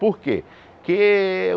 Por quê? Que